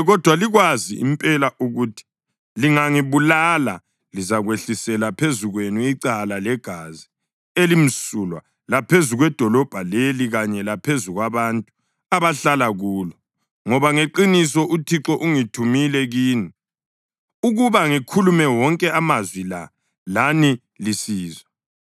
Kodwa likwazi, impela ukuthi lingangibulala, lizakwehlisela phezu kwenu icala legazi elimsulwa laphezu kwedolobho leli kanye laphezu kwabantu abahlala kulo, ngoba ngeqiniso uThixo ungithumile kini ukuba ngikhulume wonke amazwi la lani lisizwa.”